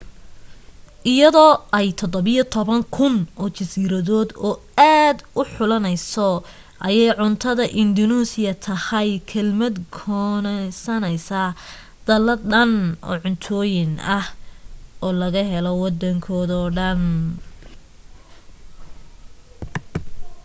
iyadoo ay 17,000 oo jasiiradood oo aad xulanayso ayay cuntada indunuusiya tahay kelmad koonsanaysa dallad dhan oo cuntooyin ah oo laga helo waddankoo dhan